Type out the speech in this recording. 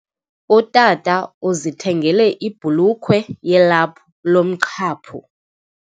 Utata uzithengele ibhulukhwe yelaphu lomqhaphu.